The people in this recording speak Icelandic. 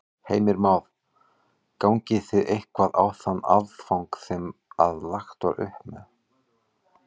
Heimir Már: Gangið þið eitthvað á þann afgang sem að lagt var upp með?